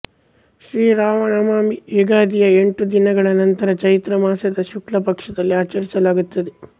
ಶ್ರೀ ರಾಮನವಮಿ ಯುಗಾದಿಯ ಎಂಟು ದಿನಗಳ ನಂತರ ಚೈತ್ರ ಮಾಸದ ಶುಕ್ಲ ಪಕ್ಷದಲ್ಲಿ ಆಚರಿಸಲಾಗುತ್ತದೆ